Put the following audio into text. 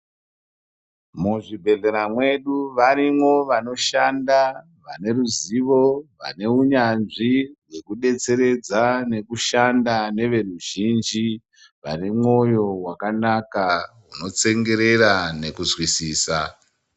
Muzvibhedhlera mwedu varimo vanoshanda vaneruzivo, vaneunyanzvi nekudetseredza, nekushanda neveruzhinji. Vanemwoyo wakanaka, unotsengerera nekuzwisisa.